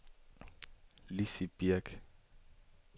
Lizzi Birch